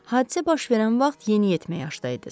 Hadisə baş verən vaxt yeniyetmə yaşdaydınız.